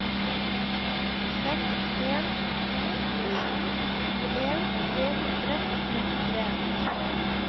seks en to sju tjueen tre hundre og trettitre